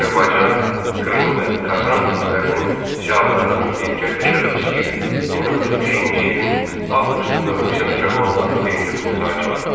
Azərbaycan, Krım və Qazan türklərinin ziyalılarının birgə təşəbbüsü ilə 1905-ci ilin avqustunda Rusiya müsəlmanlarının birinci qurultayı çağırıldı.